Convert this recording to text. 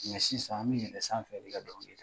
Nka sisan an bɛ yɛlɛn sanfɛ de ka dɔn kɛ